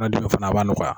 fana b'a nɔgɔya